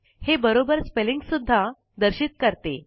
हे बरोबर स्पेलिंग्स सुद्धा दर्शित करते